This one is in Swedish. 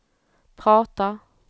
pratar